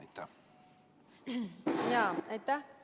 Aitäh!